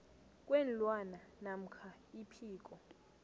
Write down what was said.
kweenlwana namkha iphiko